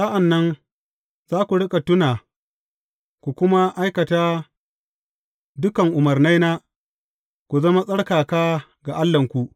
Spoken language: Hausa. Sa’an nan za ku riƙa tuna, ku kuma aikata dukan umarnaina ku zama tsarkaka ga Allahnku.